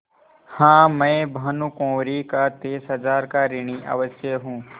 हाँ मैं भानुकुँवरि का तीस हजार का ऋणी अवश्य हूँ